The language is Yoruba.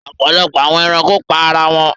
Ọpọlọpọ awọn ẹranko pa ara wọn